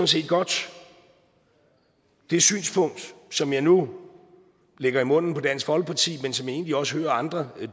set godt det synspunkt som jeg nu lægger i munden på dansk folkeparti men som jeg egentlig også hører andre